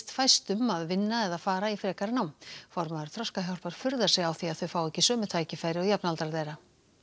fæstum að vinna eða fara í frekara nám formaður Þroskahjálpar furðar sig á því að þau fái ekki sömu tækifæri og jafnaldrar þeirra